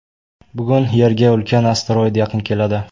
Bugun Yerga ulkan asteroid yaqin keladi.